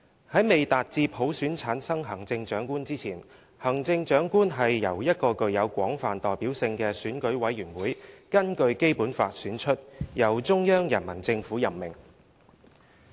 "在未達至普選產生行政長官之前，行政長官是由一個具有廣泛代表性的選舉委員會根據《基本法》選出，由中央人民政府任命。